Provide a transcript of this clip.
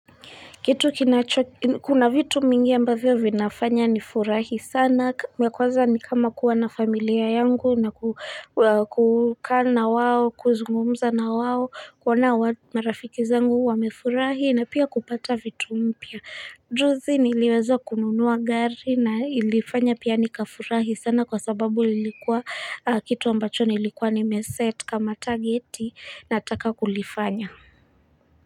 Kitu kinacho kuna vitu mingi ambavyo vinafanya ni furahi sana ya kwaza ni kama kuwa na familia yangu na kukaa na wao kuzungumza na wao kuona marafiki zangu wamefurahi na pia kupata vitu mpya juzi niliweza kununuwa gari na ilifanya pia nika furahi sana kwa sababu lilikuwa kitu ambacho nilikuwa nimeset kama targeti nataka kulifanya.